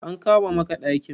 An kama maka ɗakin?